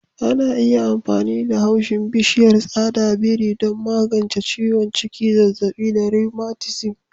Ana amfani da haushin bishiyar tsada biri don magance ciwon ciki, zazzabi da rheumatism.